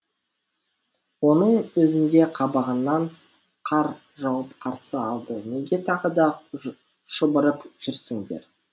оның өзінде қабағынан қар жауып қарсы алды неге тағы да шұбырып жүрсіңдер